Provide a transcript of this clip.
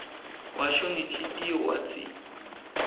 washo ngenhlitiyo watsi